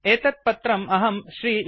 एतत् पत्रम् अहं श्री न्